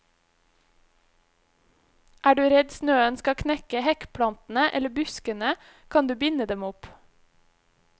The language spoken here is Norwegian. Er du redd snøen skal knekke hekkplantene eller buskene, kan du binde dem opp.